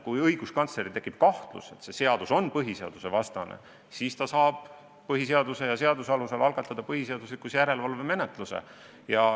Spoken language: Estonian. Kui õiguskantsleril tekib kahtlus, et seadus on põhiseadusvastane, siis ta saab põhiseaduse ja seaduse alusel algatada põhiseaduslikkuse järelevalve menetluse.